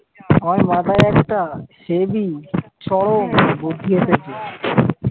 আমার মাথায় একটা হেবি চরম বুদ্ধি এসেছে